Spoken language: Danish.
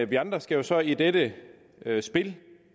vi andre skal jo så i dette dette spil